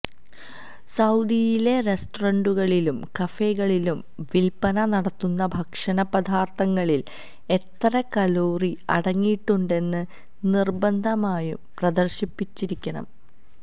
സൌദിയിലെ റെസ്റ്ററന്റുകളിലും കഫെകളിലും വില്പന നടത്തുന്ന ഭക്ഷണ പദാർത്ഥങ്ങളിൽ എത്ര കലോറി അടങ്ങിയിട്ടുണ്ടെന്ന് നിർബന്ധമായും പ്രദർശിപ്പിച്ചിരിക്കണം